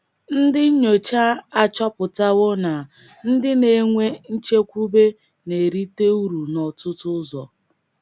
Ndị nnyocha achọpụtawo na ndị na - enwe nchekwube na - erite uru n’ọtụtụ ụzọ.